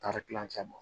Taari kilancɛ ma